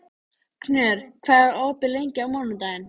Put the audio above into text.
Knörr, hvað er opið lengi á mánudaginn?